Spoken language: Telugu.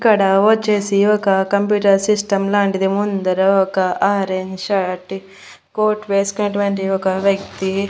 ఇక్కడ వచ్చేసి ఒక కంప్యూటర్ సిస్టం లాంటిది ముందర ఒక ఆరెంజ్ షర్టీ కోట్ వేసుకున్నటువంటి ఒక వ్యక్తి.